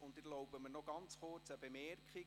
Ich erlaube mir eine kurze Bemerkung: